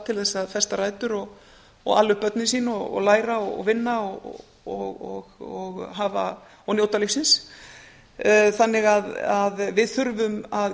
til þess að festa rætur ala upp börnin sín læra vinna og njóta lífsins þannig að við þurfum að